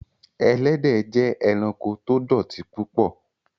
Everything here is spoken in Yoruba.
Ẹlẹ́dẹ jẹ́ ẹ̀ránkò tó dọ̀tí púpọ̀